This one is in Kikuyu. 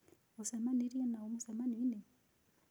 Ũcemanirĩe na ũ mũcemanioinĩ?